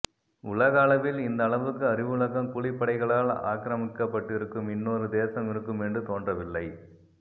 உலக அளவில் இந்த அளவுக்கு அறிவுலகம் கூலிப்படைகளால் ஆக்ரமிக்கப்பட்டிருக்கும் இன்னொரு தேசம் இருக்குமென்று தோன்றவில்லை